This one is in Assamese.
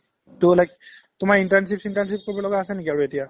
to like তোমাৰ internship চিনৰ্তানচিপ কৰিব লগা আছে নেকি এতিয়া ?